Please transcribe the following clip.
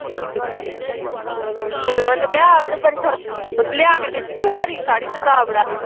ਓਹਨੂੰ ਕਹ ਆਪ ਲਿਆ ਕੇ ਦਿਆ ਤੈਨੂੰ ਹਰੀ ਸਾੜੀ ਤੇ ਦਾਵੜਾਂ